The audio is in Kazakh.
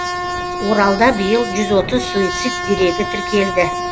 оралда биыл жүз отыз суицид дерегі тіркелді